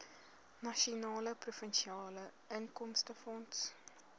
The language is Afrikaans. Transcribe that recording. nasionale provinsiale inkomstefonds